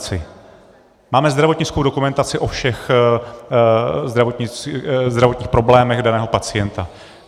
Máme zdravotnickou dokumentaci o všech zdravotních problémech daného pacienta.